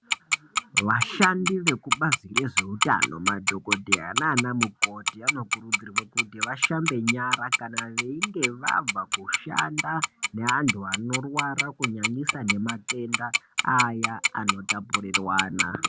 Vashandi vekubazi rezveutano madhokodheya nana mukoti anokurudzirwe kuti vashambe nyara kana veinge vabva kushanda neantu anorwara kunyanyisa nematenda aya anotapurirwana.